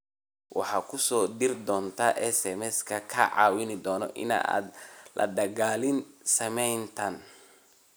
Waxaan kuu soo diri doonaa SMS kaa caawin doona inaad la dagaallanto saameyntan.